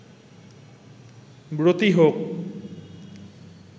ব্রতী হোক